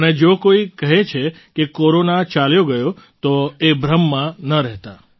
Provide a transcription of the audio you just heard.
અને જો કોઈ કહે છે કે કોરોના ચાલ્યો ગયો તો એ ભ્રમમાં ન રહેતા